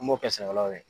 An b'o kɛ sɛnɛkɛlaw ye